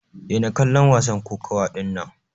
Daina kallon wasan kokawa dinnan!